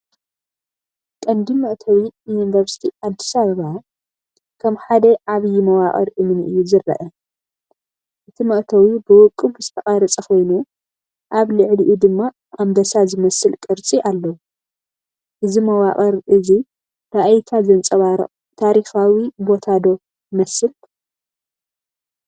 ቀንዲ መእተዊ ዩኒቨርስቲ ኣዲስ ኣበባ ከም ሓደ ዓብዪ መዋቕር እምኒ እዩ ዝረአ። እቲ መእተዊ ብውቁብ ዝተቐርጸ ኮይኑ ኣብ ልዕሊኡ ድማ ኣንበሳ ዝመስል ቅርጺ ኣለዎ። እዚ መዋቕር እዚ ራእይካ ዘንጸባርቕ ታሪኻዊ ቦታ ዶ ይመስል?